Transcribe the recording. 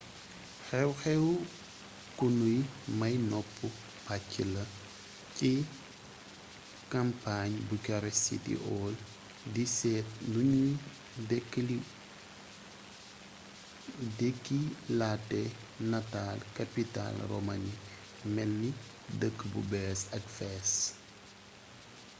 xew-xew ku nuy may nopp pacc la ci kampañ bucharest city hall di seet nuñuy dekkilate nataal kapital romaani melni dëkk bu bess ak fees